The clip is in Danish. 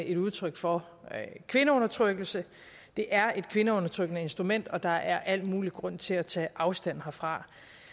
et udtryk for kvindeudtrykkelse det er et kvindeundertrykkende instrument og der er al mulig grund til at tage afstand fra